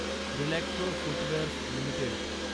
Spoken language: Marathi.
Relaxo footwears limited